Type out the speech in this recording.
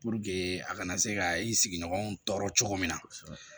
Puruke a kana se ka i sigiɲɔgɔnw tɔɔrɔ cogo min na